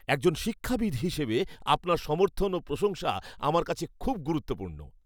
একজন শিক্ষাবিদ হিসেবে আপনার সমর্থন ও প্রশংসা আমার কাছে খুব গুরুত্বপূর্ণ।